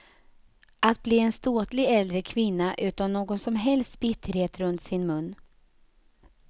Att bli en ståtlig äldre kvinna utan någon som helst bitterhet runt sin mun.